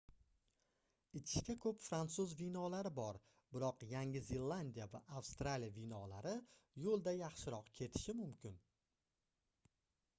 ichishga koʻp fransuz vinolari bor biroq yangi zelandiya va avstraliya vinolari yoʻlda yaxshiroq ketishi mumkin